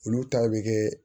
Olu ta bɛ kɛ